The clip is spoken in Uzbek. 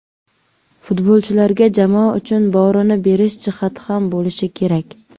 Futbolchilarda jamoa uchun borini berish jihati ham bo‘lishi kerak.